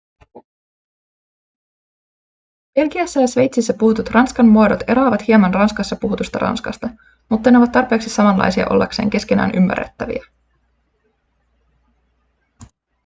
belgiassa ja sveitsissä puhutut ranskan muodot eroavat hieman ranskassa puhutusta ranskasta mutta ne ovat tarpeeksi samanlaisia ollakseen keskenään ymmärrettäviä